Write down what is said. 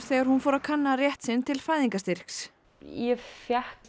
þegar hún fór að kanna rétt sinn til fæðingarstyrks ég fékk